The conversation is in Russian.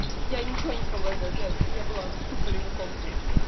я ничего не смогла сделать я я была в ступоре каком-то